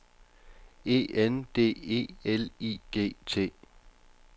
E N D E L I G T